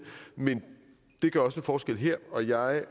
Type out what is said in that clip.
men det gør også en forskel her og jeg